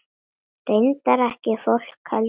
Reyndar ekki fólkið heldur.